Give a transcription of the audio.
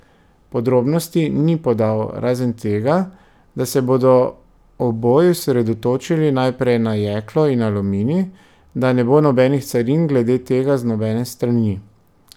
Podrobnosti ni podal, razen tega, da se bodo oboji osredotočili najprej na jeklo in aluminij, da ne bo nobenih carin glede tega z nobene strani.